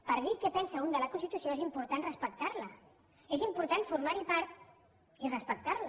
per dir què pensa un de la constitució és important respectar la és important formar ne part i respectar la